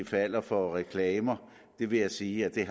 falder for reklamer det vil jeg sige at jeg